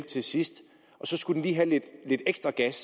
til sidst skulle have lidt ekstra gas